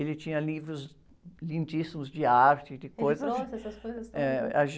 Ele tinha livros lindíssimos de arte, de coisas... le trouxe essas coisas ?h, a...